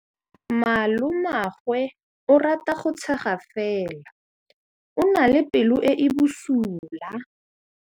Malomagwe o rata go tshega fela o na le pelo e e bosula.